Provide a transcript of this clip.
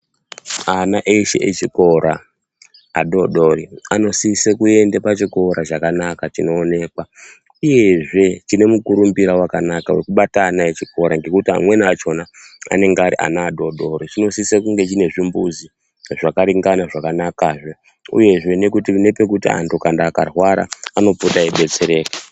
Ana eshe echikora adoodori anosise kuende pachikora chakanaka chinoonekwa. Uyezve chine mukurumbira wakanaka wekubata ana echikora ngekuti amweni achona anenge ari adoodori. Chinosise kunge chine zvimbuzi zvakaringana zvakanakazve. Uyezve nepakuti antu kana akarwara anopota eidetsereka.